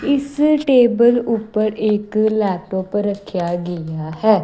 ਇਸ ਟੇਬਲ ਉੱਪਰ ਇੱਕ ਲੈਪਟੋਪ ਰੱਖਿਆ ਗਿਆ ਹੈ।